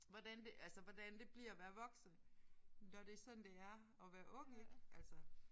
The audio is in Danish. Hvordan det altså hvordan det bliver at være voksen når det er sådan det er at være ung ik altså